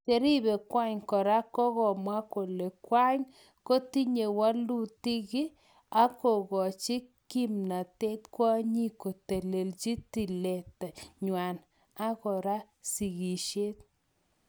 Cherepe kwang kora kokamwa kole kwang kotinye walutiki ak kokachi kimatet kwanyik kotelechingen tililitanwany ak kora sigisiek